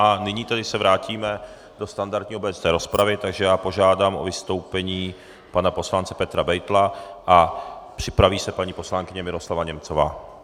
A nyní tedy se vrátíme do standardní obecné rozpravy, takže já požádám o vystoupení pana poslance Petra Beitla a připraví se paní poslankyně Miroslava Němcová.